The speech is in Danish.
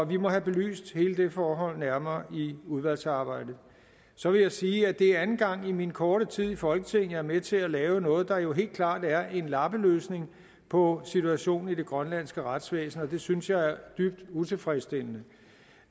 vi må have belyst hele det forhold nærmere i udvalgsarbejdet så vil jeg sige at det er anden gang i min korte tid i folketinget er med til at lave noget der jo helt klart er en lappeløsning på situationen i det grønlandske retsvæsen og det synes jeg er dybt utilfredsstillende